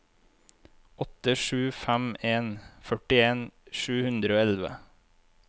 åtte sju fem en førtien sju hundre og elleve